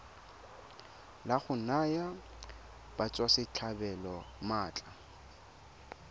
la go naya batswasetlhabelo maatla